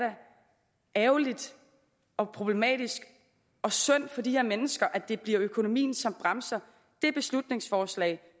ærgerligt og problematisk og synd for de her mennesker at det bliver økonomien som bremser det beslutningsforslag